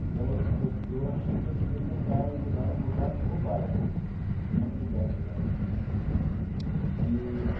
Então, eu que eu que eu achei que eu devia tentar ajudar a mudar o bairro e não mudar de bairro eee.